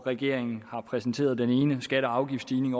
regeringen har præsenteret den ene skatte og afgiftsstigning